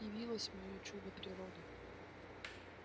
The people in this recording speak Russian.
явилось моё чудо природы